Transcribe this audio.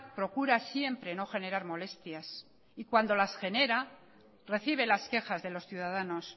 procura siempre no generar molestias y cuando las genera recibe las quejas de los ciudadanos